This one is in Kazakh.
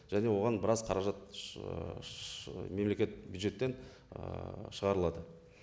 және оған біраз қаражат шшш мемлекет бюджеттен ііі шығарылады